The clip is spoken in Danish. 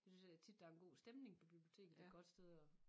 Det synes jeg tit der er en god stemning på biblioteket det et godt sted at